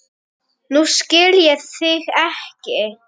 Nú skil ég þig ekki.